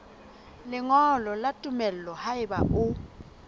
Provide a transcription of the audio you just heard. lengolo la tumello haeba o